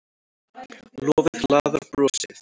Lofið laðar brosið.